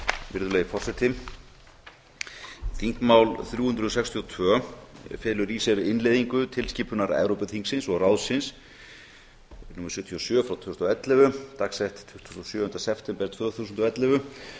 virðulegi forseti þingmál þrjú hundruð sextíu og tvö felur í sér innleiðingu til skipunar evrópuþingsins og ráðsins númer sjötíu og sjö tvö þúsund og ellefu dagsett tuttugasta og sjöunda september tvö þúsund og ellefu